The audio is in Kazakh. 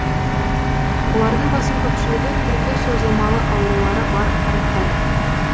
олардың басым көпшілігі түрлі созылмалы аурулары бар қарттар